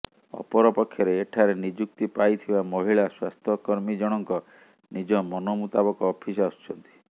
ଅପରପକ୍ଷରେ ଏଠାରେ ନିଯୁକ୍ତି ପାଇଥିବା ମହିଳା ସ୍ୱାସ୍ଥ୍ୟକର୍ମୀଜଣଙ୍କ ନିଜ ମନମୁତାବକ ଅଫିସ ଆସୁଛନ୍ତି